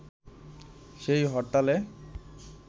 সেই হরতালে